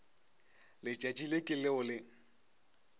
letšatši le ke leo le